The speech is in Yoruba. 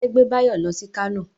Ìṣe gbé Báyọ̀ lọ sí Kánò